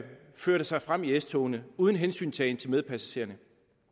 førte sig frem i s togene uden hensyntagen til medpassagererne